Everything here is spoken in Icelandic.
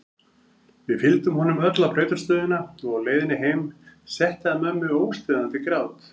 Við fylgdum honum öll á brautarstöðina og á leiðinni heim setti að mömmu óstöðvandi grát.